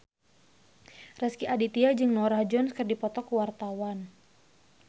Rezky Aditya jeung Norah Jones keur dipoto ku wartawan